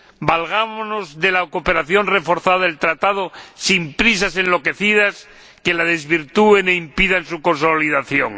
Valgámonos de la cooperación reforzada del Tratado, sin prisas enloquecidas que la desvirtúen e impidan su consolidación.